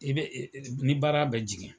I bɛ ni baara bɛ jigin